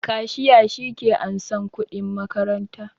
Kashiya shi ke ansan kuɗin makaranta